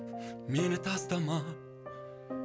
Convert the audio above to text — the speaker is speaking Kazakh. мені тастама